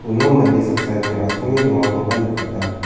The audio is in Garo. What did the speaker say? uno mande saksani asonge dongakoba nikata.